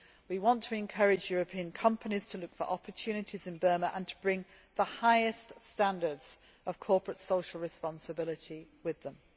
We want to encourage European companies to look for opportunities in Burma and to bring the highest standards of corporate social responsibility with them.